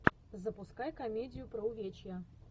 запускай комедию про увечья